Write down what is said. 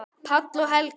Páll og Helga.